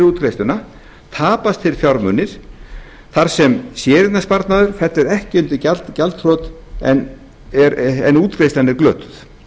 útgreiðsluna tapast þeir fjármunir þar sem séreignasparnaður fellur ekki undir gjaldþrot en útgreiðslan er glötuð